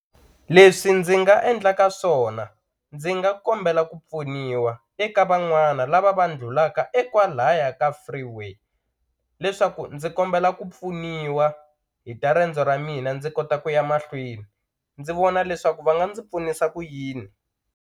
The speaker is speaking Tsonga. Leswi ndzi nga endlaka swona ndzi nga kombela ku pfuniwa eka van'wana lava va ndlulaka e kwalaya ka freeway leswaku ndzi kombela ku pfuniwa hi ta riendzo ra mina ndzi kota ku ya mahlweni ndzi vona leswaku va nga ndzi pfunisa ku yini.